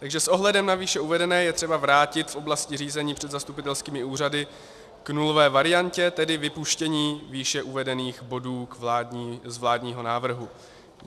Takže s ohledem na výše uvedené je třeba vrátit v oblasti řízení před zastupitelskými úřady k nulové variantě, tedy vypuštění výše uvedených bodů z vládního návrhu.